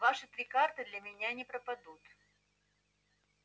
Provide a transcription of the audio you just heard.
ваши три карты для меня не пропадут